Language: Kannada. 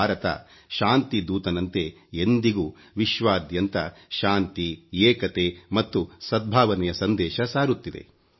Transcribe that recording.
ಭಾರತ ಶಾಂತಿದೂತನಂತೆ ಎಂದಿಗೂ ವಿಶ್ವಾದ್ಯಂತ ಶಾಂತಿ ಏಕತೆ ಮತ್ತು ಸದ್ಭಾವನೆಯ ಸಂದೇಶ ಸಾರುತ್ತಿದೆ